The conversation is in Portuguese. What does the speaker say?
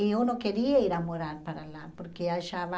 E eu não queria ir a morar para lá, porque achava...